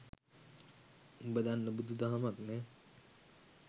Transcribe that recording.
උඹ දන්න බුදු දහමක් නෑ